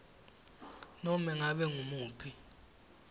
nobe ngabe ngumuphi